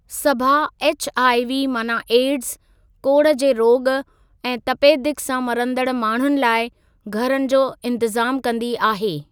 सभा HIV माना AIDS, कोड़ जे रोॻ ऐं तपेदिक़ सां मरंदड़ माण्हुनि लाइ घरनि जो इंतज़ाम कंदी आहे।